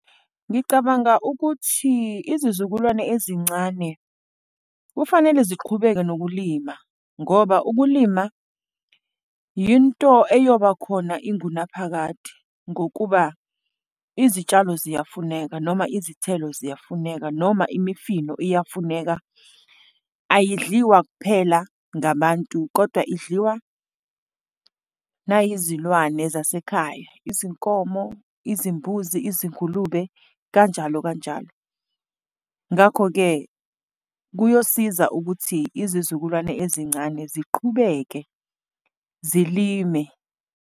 Ngicabanga ukuthi izizukulwane ezincane kufanele ziqhubeke nokulima ngoba ukulima yinto eyoba khona ingunaphakade. Ngokuba izitshalo ziyafuneka, noma izithelo ziyafuneka, noma imifino iyafuneka. Ayidliwa kuphela ngabantu kodwa idliwa nayizilwane zasekhaya, izinkomo, izimbuzi, izingulube kanjalo kanjalo. Ngakho-ke, kuyosiza ukuthi izizukulwane ezincane ziqhubeke zilime.